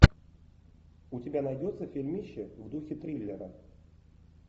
у тебя найдется фильмище в духе триллера